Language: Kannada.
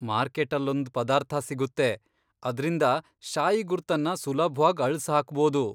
ಮಾರ್ಕೆಟ್ಟಲ್ಲೊಂದ್ ಪದಾರ್ಥ ಸಿಗುತ್ತೆ, ಅದ್ರಿಂದ ಶಾಯಿ ಗುರ್ತನ್ನ ಸುಲಭ್ವಾಗ್ ಅಳ್ಸ್ ಹಾಕ್ಬೋದು.